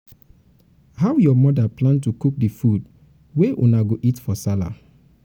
how your mother plan to cook di food wey una go eat for sallah.